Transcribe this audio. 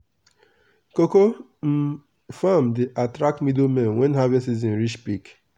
cocoa um farm dey attract middlemen when harvest season reach peak.